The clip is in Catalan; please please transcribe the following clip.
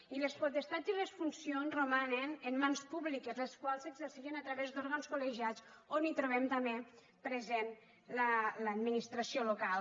i les potestats i les funcions romanen en mans públiques les quals s’exerceixen a través d’òrgans col·legiats on trobem també present l’administració local